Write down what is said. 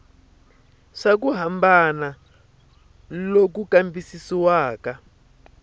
swa ku hambana loku kambisisiwaka